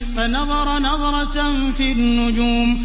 فَنَظَرَ نَظْرَةً فِي النُّجُومِ